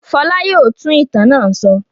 Fọlá yóò tún ìtàn náà sọ.